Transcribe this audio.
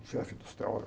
O chefe dos teólogos